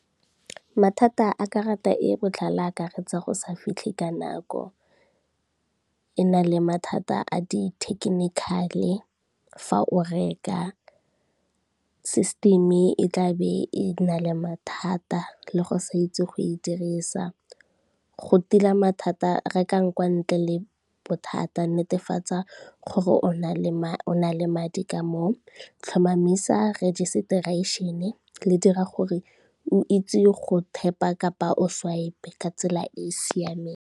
Mathata a karata e e botlhale akaretsa go sa fitlhe ka nako, e na le mathata a di-technical-e fa o reka, system e tla be e na le mathata le go sa itse go e dirisa. Go tila mathata rekang kwa ntle le bothata netefatsa gore, o na le madi ka moo, tlhomamisa registration-e le dira gore o itse go tap-a kapa o swipe-e ka tsela e e siameng.